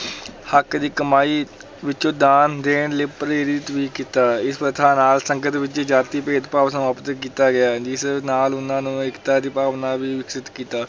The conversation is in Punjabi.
ਹੱਕ ਦੀ ਕਮਾਈ ਵਿੱਚੋਂ ਦਾਨ ਦੇਣ ਲਈ ਪ੍ਰੇਰਿਤ ਵੀ ਕੀਤਾ, ਇਸ ਪ੍ਰਥਾ ਨਾਲ ਸੰਗਤ ਵਿੱਚ ਜਾਤੀ ਭੇਦ ਭਾਵ ਸਮਾਪਤ ਕੀਤਾ ਗਿਆ, ਜਿਸ ਨਾਲ ਉਹਨਾਂ ਨੂੰ ਏਕਤਾ ਦੀ ਭਾਵਨਾ ਵੀ ਵਿਕਸਿਤ ਕੀਤਾ।